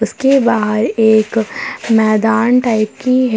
इसके बाहर एक मैदान टाइप की है।